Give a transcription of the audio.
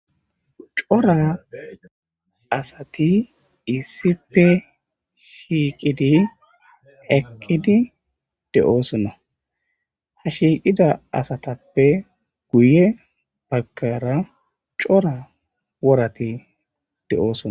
Cora asati issippe shiiqidi eqqidi de'osona. Ha shiiqida asatappe guye baggara cora worati de'osona.